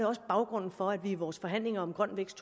også baggrunden for at vi i vores forhandlinger om grøn vækst